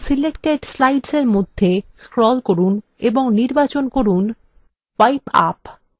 apply to selected slides এর মধ্যে scroll করুন এবং নির্বাচন করুন wipe up